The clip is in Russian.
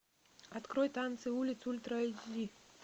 открой танцы улиц ультра эйч ди